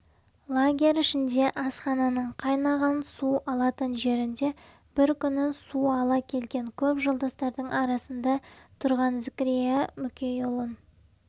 лагерь ішінде асхананың қайнаған су алатын жерінде бір күні су ала келген көп жолдастардың арасында тұрған зікірия мүкейұлын